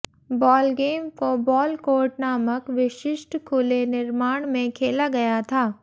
ball game को ball court नामक विशिष्ट खुले निर्माण में खेला गया था